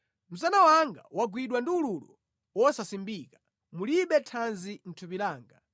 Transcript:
Msana wanga wagwidwa ndi ululu wosasimbika, mulibe thanzi mʼthupi langa.